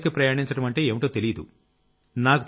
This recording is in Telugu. కొండలెక్కి ప్రయాణించడమంటే ఏంటో తెలియదు